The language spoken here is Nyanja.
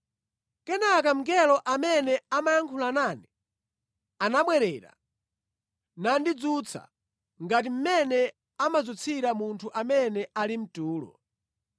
Kenaka mngelo amene amayankhula nane anabwerera nandidzutsa, ngati mmene amadzutsira munthu amene ali mʼtulo.